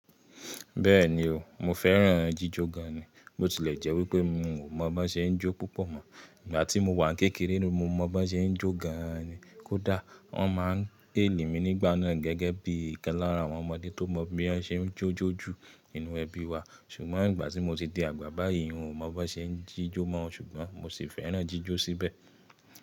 Bẹ́ẹ̀ni o, mo fẹ́ràn jíjọ gan. Bó ti lẹ̀ jẹ́ wípé mi ò mọ̀ bó ṣe ń jó púpọ̀ mọ́. Ìgbà tí mo wà ní kékeré ni mo mọ̀ bó ṣe ń jó gan ni. Kódà wọ́n má n héèli mi nígbà náà gẹ́gẹ́ bí i kan lára àwọn ọmọdé tó mọ bí wọ́n ṣe ń jó jó ju nínú ẹbí wa. Ṣùgbọ́n ìgbà tí mo ti di àgbà báyìí n ò mọ̀ bó ṣe ń jíjó mọ́ ṣùgbọ́n mo sì fẹ́ràn jíjó síbẹ̀.